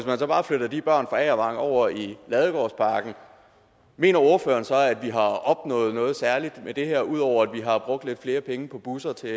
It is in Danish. man så bare flytter de børn fra agervang over i ladegårdsparken mener ordføreren så at vi har opnået noget særligt med det her ud over at vi har brugt lidt flere penge på busser der